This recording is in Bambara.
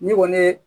Ne kɔni ye